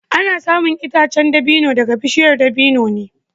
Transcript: Ana samun itacen dabino daga bishiyar dabino ne